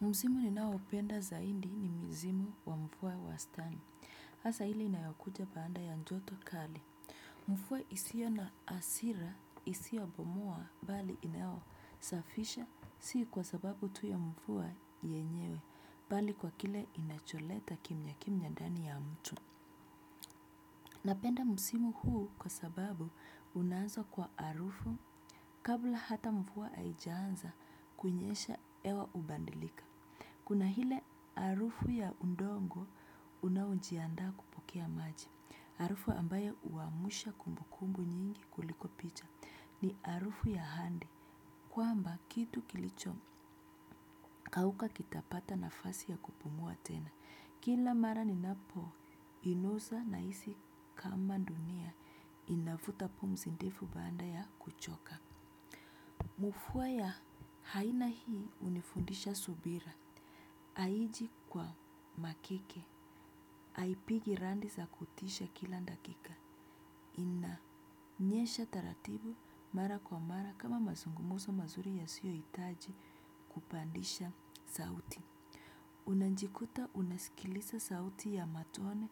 Msimu ninaopenda zaidi ni msimu wa mvua wastani. hAsa hile inayokuja baada ya joto kali. Mvua isio na hasira isiobomoa bali inaosafisha si kwa sababu tu ya mvua yenyewe bali kwa kile inacholeta kimya kimya ndani ya mtu. Napenda msimu huu kwa sababu unaanza kwa arufu kabla hata mvua haijanza kunyesha hewa ubadilika. Kuna hile arufu ya udongo unaojiandaa kupokea maji. Arufu ambayo huamsha kumbukumbu nyingi kuliko picha ni arufu ya ahadi. Kwamba kitu kilichokauka kitapata nafasi ya kupumua tena. Kila mara ninapoinusa nahisi kama dunia inavuta pumzi ndefu baada ya kuchoka. Mvua ya aina hii hunifundisha subira. Aiji kwa makeke. Aipigi radi za kutisha kila dakika. Inanyesha taratibu mara kwa mara kama mazungumso mazuri yasiyohitaji kupandisha sauti. Unajikuta unasikiliza sauti ya matone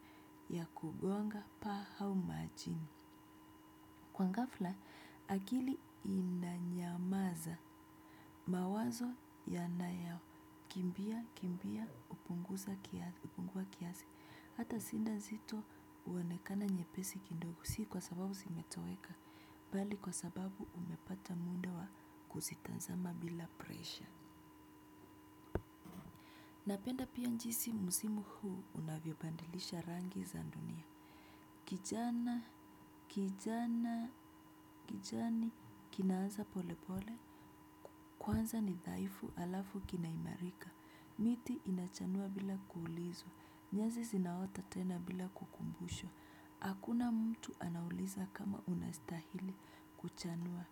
ya kubonga paa au majini. Kwa ngafla, akili inanyamaza mawazo yanayakimbia, kimbia, kupunguza kiasi, hata sinda zito huonekana nyepesi kindogo, si kwa sababu zimetoweka, bali kwa sababu umepata mwendo wa kuzitazama bila presha. Napenda pia jinsi msimu huu unavyobadilisha rangi za dunia. Kijana, kijana, kijani, kinaanza pole pole, kwanza ni dhaifu alafu kina imarika, miti inachanua bila kuulizwa, nyazi zinaota tena bila kukumbushwa, akuna mtu anauliza kama unastahili kuchanua,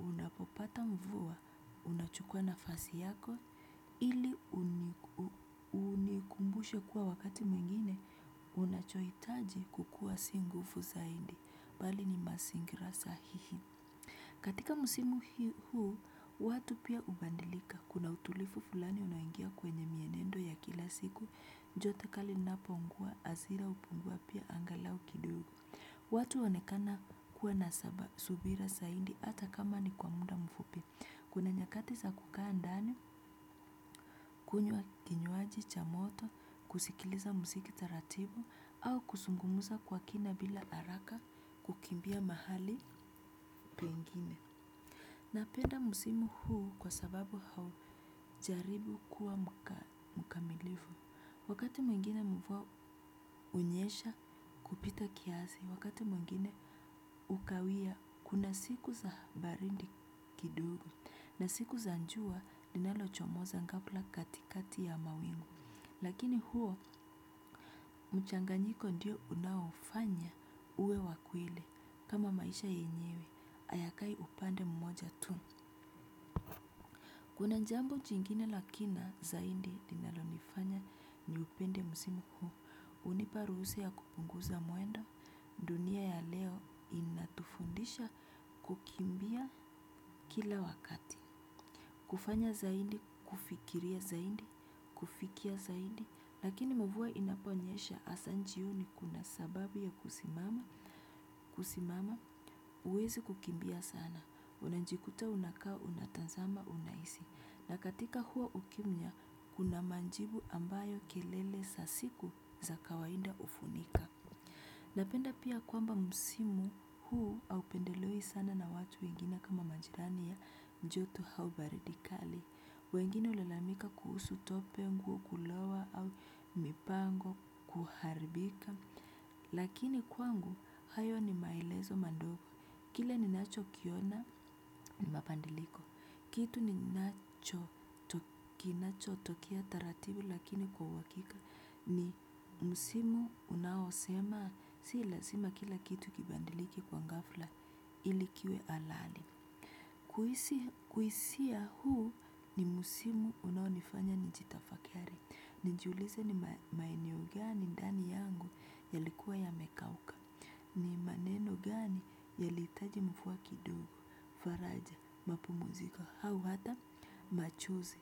unapopata mvua, unachukua nafasi yako, ili unikumbushe kuwa wakati mwingine, unachohitaji kukua si nguvu zaidi. Bali ni masingira sahihi katika msimu huu watu pia ubadilika kuna utulivu fulani unaingia kwenye mienendo ya kila siku joto kali napoungua hasira hupungua pia angalau kidogo watu uonekana kuwa na saba subira saidi ata kama ni kwa muda mfupi kuna nyakati za kukaa ndani kunywa kinywaji cha moto kusikiliza musiki taratibu au kusungumuza kwa kina bila haraka kukimbia mahali pengine napenda musimu huu kwa sababu hau jaribu kuwa mkamilifu wakati mwingine mvua hunyesha kupita kiasi wakati mwingine ukawia kuna siku za baridi kidogo na siku za jua linalochomoza kabla katikati ya mawingu lakini huo mchanganyiko ndiyo unaofanya uwe wa kweli kama maisha yenyewe hayakai upande mmoja tuu kuna jambo jingine la kina zaidi lilonanifanya niupende msimu huu hunipa ruhusa ya kupunguza mwendo dunia ya leo inatufundisha kukimbia kila wakati. Kufanya zaidi, kufikiria zaidi, kufikia zaidi, lakini mvua inaponyesha asa jioni kuna sababu ya kusimama. Kusimama, huwezi kukimbia sana, unajikuta unakao, unatazama, unahisi. Na katika huwa ukimya, kuna majibu ambayo kelele sa siku za kawaida hufunika. Napenda pia kwamba msimu huu aupendelewi sana na watu wengine kama majirani joto hau baridi kali. Wengine ulalamika kuhusu tope, nguo kulowa au mipango, kuharibika. Lakini kwangu hayo ni maelezo madogo. Kile ninacho kiona ni mabadiliko. Kitu ninachotokea taratibu lakini kwa uhakika ni msimu unaosema si lasima kila kitu kibadilike kwa ghafla ili kiwe alali. Uhisia huu ni msimu unaonifanya nijitafakari. Nijiulize ni maeneo gani ndani yangu yalikuwa yamekauka. Ni maneno gani yalihitaji mvua kidogo, faraja, mapumziko hau hata machozi.